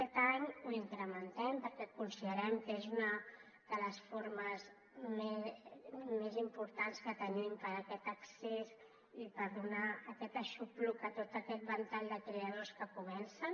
aquest any ho incrementem perquè considerem que és una de les formes més importants que tenim per a aquest accés i per donar aquest aixopluc a tot aquest ventall de creadors que comencen